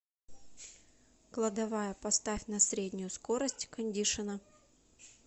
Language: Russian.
кладовая поставь на среднюю скорость кондишена